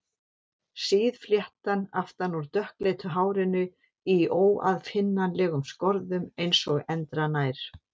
Síð fléttan aftan úr dökkleitu hárinu í óaðfinnanlegum skorðum eins og endranær.